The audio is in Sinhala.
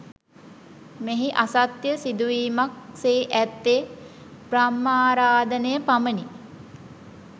මෙහි අසත්‍ය සිදුවීමක් සේ ඇත්තේ බ්‍රහ්මාරාධනය පමණි